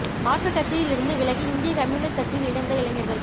மாற்றுக் கட்சியில் இருந்து விலகி இந்திய கம்யூனிஸ்ட் கட்சியில் இணைந்த இளைஞா்கள்